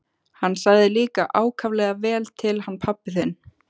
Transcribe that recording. Hann sagði líka ákaflega vel til hann pabbi þinn.